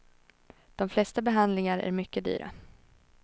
De flesta behandlingar är mycket dyra.